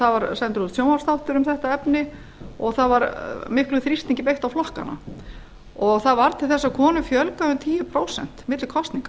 það var sendur út sjónvarpsþáttur um þetta efni og það var miklum þrýstingi beitt á flokkana það varð til þess að konum fjölgaði um tíu prósent milli kosninga